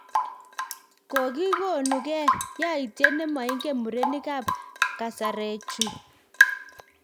Kokikonuge, yautiet ne moingen murenik ab kasaruech chu